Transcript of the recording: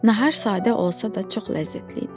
Nahar sadə olsa da, çox ləzzətli idi.